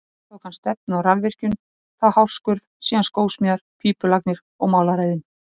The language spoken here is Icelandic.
Næst tók hann stefnu á rafvirkjun, þá hárskurð, síðan skósmíðar, pípulagnir og málaraiðn.